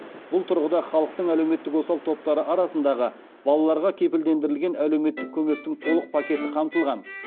бұл тұрғыда халықтың әлеуметтік осал топтары арасындағы балаларға кепілдендірілген әлеуметтік көмектің толық пакеті қамтылған